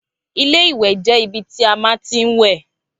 Ilé ìwè jé ibi tí a má ti ń wè